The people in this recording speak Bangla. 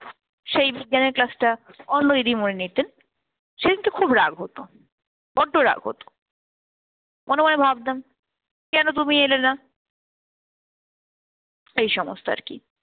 সেই বিজ্ঞানের class টা অন্য দিদিমণি নিতেন। সেদিনকে খুব রাগ রাগ হত, বড্ড রাগ হত। মনে মনে ভাবতাম কেন তুমি এলেনা এই সমস্ত আর কি।